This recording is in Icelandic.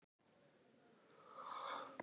Neðri hæðin er einfaldlega rifin um sumarið.